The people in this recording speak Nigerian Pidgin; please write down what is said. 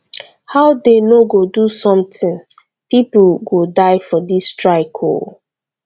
how dey no go do something people go die for dis strike oo